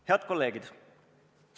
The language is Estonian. Head kolleegid!